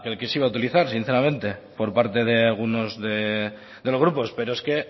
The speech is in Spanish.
que se iba a utilizar sinceramente por parte de algunos de los grupos pero es que